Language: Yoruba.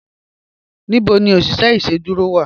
Níbò ní oṣiṣẹ iṣẹ̀dúró wá?